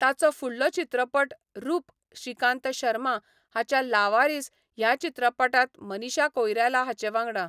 ताचो फुडलो चित्रपट रूप श्रीकांत शर्मा हाच्या 'लावारीस' ह्या चित्रपटांत मनीषा कोइराला हांचे वांगडा.